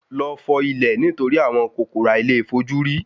Lọ fọ ilẹ̀ nitori àwọn kòkòrò àìlèfojúrí